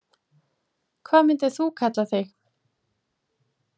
Hvað myndir þú kalla þig?